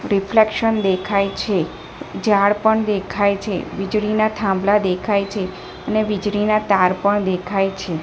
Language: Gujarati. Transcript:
રિફ્લેક્શન દેખાય છે ઝાડ પણ દેખાય છે વીજળીના થાંભલા દેખાય છે અને વીજળીના તાર પણ દેખાય છે.